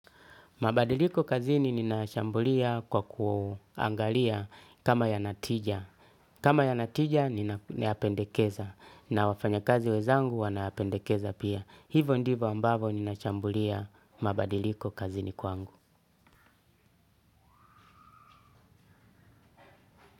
Mabadiliko kazini ninayashambulia kwa kuangalia kama yana tija. Kama yana tija ninayapendekeza na wafanya kazi wezangu wanayapendekeza pia. Hivo ndivo ambavo ninashambulia mabadiliko kazini kwangu.